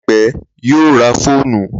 Láìpẹ́, yóò ra fóònù.